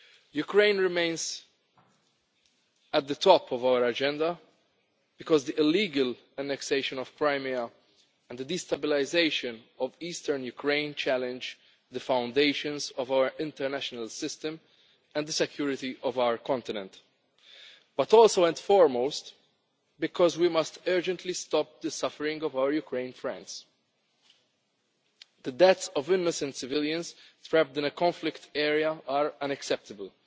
Ukraine remains at the top of our agenda, because the illegal annexation of Crimea and the destabilisation of eastern Ukraine challenge the foundations of our international system and the security of our continent. But also and foremost because we must urgently stop the suffering of our Ukrainian friends. The deaths of innocent civilians trapped in a conflict area are unacceptable.